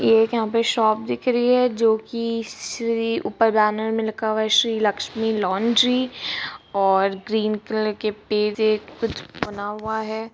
ये एक यहां पे शाॅप दिख रही है जो की श्री ऊपर में लिखा हुआ है श्री लक्ष्मी लाॅण्डी् ‌ और ग्रीन कलर के कुछ बना हुआ है।